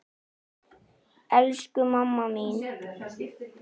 Elsku mamma mín.